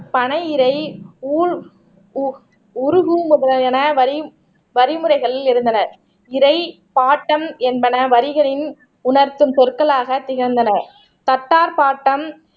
பனை இறை உல் உ உருகும் முறையான வரி வழிமுறைகளில் இருந்தன இதை பாட்டம் என்பன வரிகளின் உணர்த்தும் சொற்களாக திகழ்ந்தன கத்தார் பாட்டம்